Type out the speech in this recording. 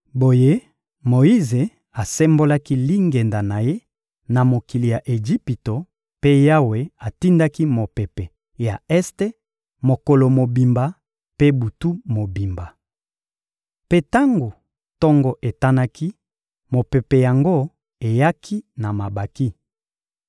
Boye Moyize asembolaki lingenda na ye na mokili ya Ejipito mpe Yawe atindaki mopepe ya este mokolo mobimba mpe butu mobimba. Mpe tango tongo etanaki, mopepe yango eyaki na mabanki.